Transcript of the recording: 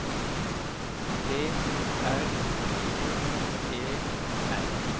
T R Ø E N